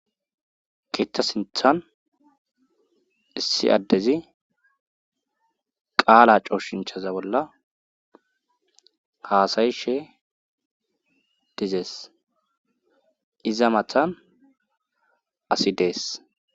Keththa sinthan issi addezi qaala cooshinchaza bolla haasayishe dizees iza mathan asi dees.